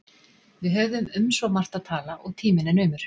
Við höfum um svo margt að tala, og tíminn er naumur